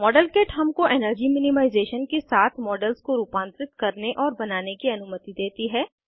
model kit हमको energy minimisation के साथ मॉडल्स को रूपांतरित करने और बनाने की अनुमति देती है